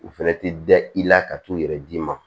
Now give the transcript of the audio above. U fɛnɛ ti da i la ka t'u yɛrɛ d'i ma